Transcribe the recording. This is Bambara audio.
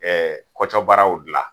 Ɛɛ kɔcɔbaraw gila